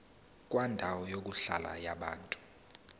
kwendawo yokuhlala yabantu